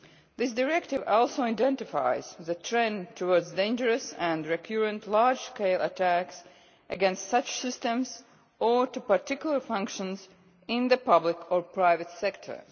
This Directive also identifies the trend towards dangerous and recurrent large scale attacks against such systems or particular functions in the public or private sector.